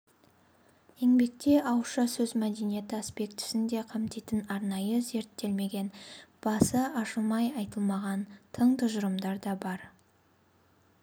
еңбекте ауызша сөз мәдениеті аспектісін де қамтитын арнайы зерттелмеген басы ашылып айтылмаған тың тұжырымдар да бар